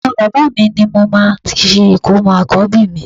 Ọ̀dọ bàbá mi ní mo máa ti ṣe ìkómọ àkọ́bí mi